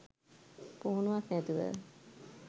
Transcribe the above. පුහුණුවක් නැතුව